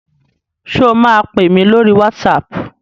Sọ ma pèmí lórí WhatsApp?